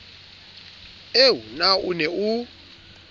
eo na o ne o